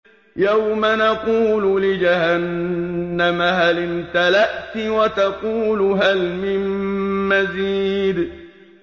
يَوْمَ نَقُولُ لِجَهَنَّمَ هَلِ امْتَلَأْتِ وَتَقُولُ هَلْ مِن مَّزِيدٍ